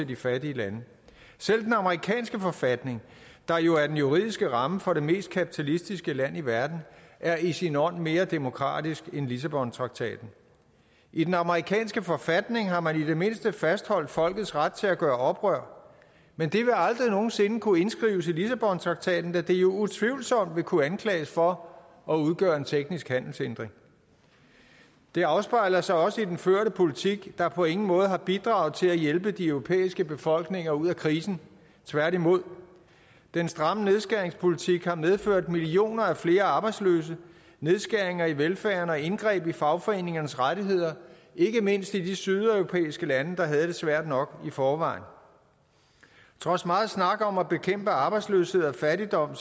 de fattige lande selv den amerikanske forfatning der jo er den juridiske ramme for det mest kapitalistiske land i verden er i sin ånd mere demokratisk end lissabontraktaten i den amerikanske forfatning har man i det mindste fastholdt folkets ret til at gøre oprør men det vil aldrig nogen sinde kunne indskrives i lissabontraktaten da det jo utvivlsomt vil kunne anklages for at udgøre en teknisk handelshindring det afspejler sig også i den førte politik der på ingen måde har bidraget til at hjælpe de europæiske befolkninger ud af krisen tværtimod den stramme nedskæringspolitik har medført millioner af flere arbejdsløse nedskæringer i velfærden og indgreb i fagforeningernes rettigheder ikke mindst i de sydeuropæiske lande der havde det svært nok i forvejen trods megen snak om at bekæmpe arbejdsløshed og fattigdom